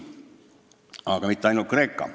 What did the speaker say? Aga mitte ainult Kreeka.